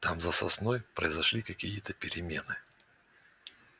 там за сосной произошли какие то перемены